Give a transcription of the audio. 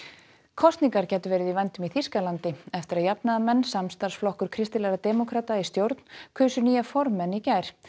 kosningar gætu verið í vændum í Þýskalandi eftir að jafnaðarmenn samstarfsflokkur kristilegra demókrata í stjórn kusu nýja formenn í gær